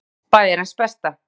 Frétt Bæjarins besta